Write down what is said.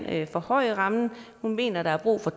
at forhøje rammen hun mener der er brug for